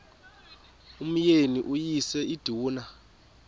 umyeni uyise iduna